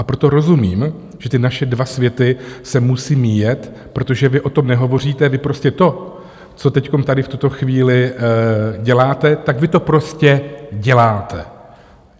A proto rozumím, že ty naše dva světy se musí míjet, protože vy o tom nehovoříte, vy prostě to, co teď tady v tuto chvíli děláte, tak vy to prostě děláte.